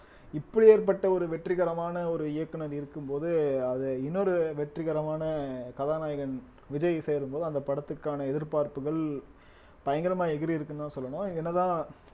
இப்பேற்பட்ட ஒரு வெற்றிகரமான ஒரு இயக்குனர் இருக்கும் போது அது இன்னொரு வெற்றிகரமான கதாநாயகன் விஜய் சேரும்போது அந்த படத்துக்கான எதிர்பார்ப்புகள் பயங்கரமா எகிறி இருக்குன்னுதான் சொல்லணும் என்னதான்